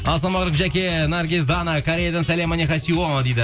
ассалаумағалейкум жаке наргиз дана кореядан сәлем дейді